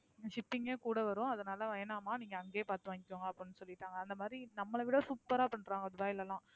shipping யே கூட வரும். அதனால வேணாம்மா நீங்க அங்கேயே பாத்து வாங்கிக்கோங்க அப்படின்னு சொல்லிருக்காங்க அந்தமாதிரி நம்மளை விட super ஆ பண்றாங்க துபாய்ல எல்லாம்